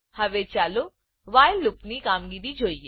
હવે ચાલો while loop while loop ની કામગીરી જોઈએ